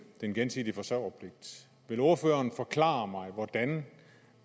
den gensidige forsørgerpligt vil ordføreren forklare mig hvordan